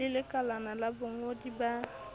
le lekalana la bongodi ba